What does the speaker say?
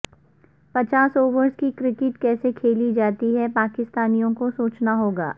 پچاس اوورز کی کرکٹ کیسے کھیلی جا تی ہے پاکستانیوں کو سوچنا ہو گا